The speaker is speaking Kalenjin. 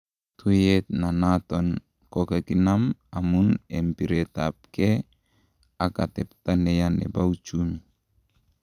Tuyet ne naton kokikinam amun en piretap ng'e ak atepta neya nepouchumi